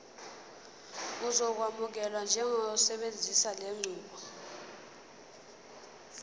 uzokwamukelwa njengosebenzisa lenqubo